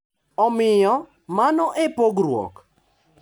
Omiyo, mano e pogruok,